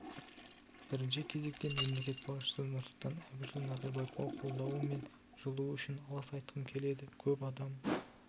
бірінші кезекте мемлекет басшысы нұрсұлтан әбішұлы назарбаевқа қолдауы мен жылуы үшін алғыс айтқым келеді көп адам